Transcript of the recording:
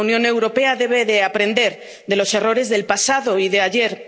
La Unión Europea debe aprender de los errores del pasado y de ayer.